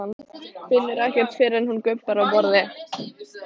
Finnur ekkert fyrr en hún gubbar á borðið.